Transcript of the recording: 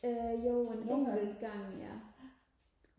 øh jo en enkelt gang ja